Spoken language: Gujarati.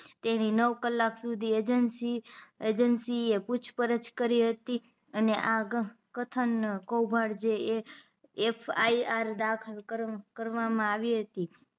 તેની નવ કલાક સુધી એજન્સી એજન્સી એ પૂછપરછ કરી હતી અને આગળ કથન કોભાંડ જે FIR દાખલ કરવા માં આવી હતી